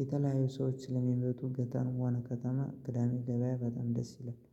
የተለያዩ ሰዎች ስለሚመጡ ገጠርም ሆነ ከተማ ቅዳሜ ገብያ በጣም ደስ ይላል